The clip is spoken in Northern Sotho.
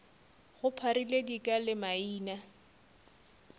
go pharile dika le maina